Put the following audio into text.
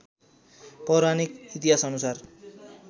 पौराणिक इतिहासअनुसार